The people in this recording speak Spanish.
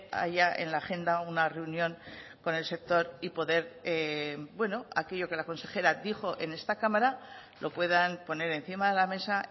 haya en la agenda una reunión con el sector y poder bueno aquello que la consejera dijo en esta cámara lo puedan poner encima de la mesa